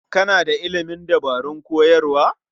Kana da ilimin dabarun koyarwa?